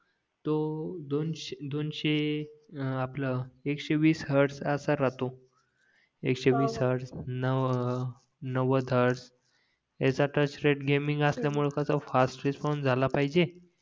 तो दोनशे हां आपला एकशेवीस हॅर्डस असा राहतो एकशेवीस हॅर्डस नवद हॅर्डस ह्याच्या टच रेट गेमिंग असल्या मुळे कसा फास्ट रिस्पॉन्स झाला पाहिजे